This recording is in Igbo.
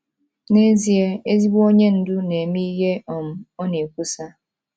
N’ezie, ezigbo onye ndu na-eme ihe um ọ na-ekwusa.